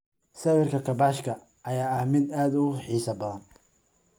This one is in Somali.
Sawirka kaabashka ayaa ah mid aad u xiiso badan.